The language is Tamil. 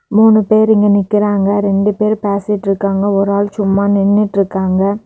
மூணு பேரு இங்க நிக்கிறாங்க ரெண்டு பேரும் பேசிட்டு இருக்காங்க ஒரு ஆள் சும்மா நின்னுட்டு இருக்காங்க.